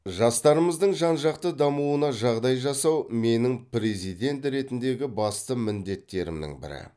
жастарымыздың жан жақты дамуына жағдай жасау менің президент ретіндегі басты міндеттерімнің бірі